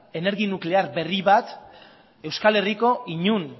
energia nuklear berri bat euskal herriko inon